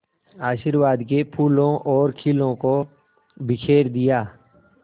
आशीर्वाद के फूलों और खीलों को बिखेर दिया